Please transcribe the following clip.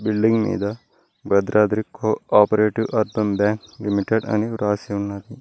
Building మీద Bhadradri cooperative urban bank limited అని రాసి ఉన్నది.